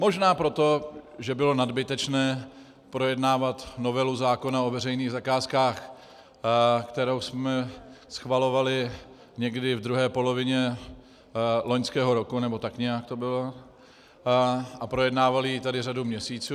Možná proto, že bylo nadbytečné projednávat novelu zákona o veřejných zakázkách, kterou jsme schvalovali někdy v druhé polovině loňského roku, nebo tak nějak to bylo, a projednávali ji tady řadu měsíců.